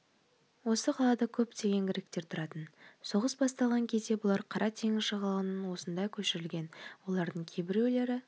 осы қалада көптеген гректер тұратын соғыс басталған кезде бұлар қара теңіз жағалауынан осында көшірілген олардың кейбірулері